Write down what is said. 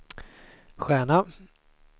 stjärna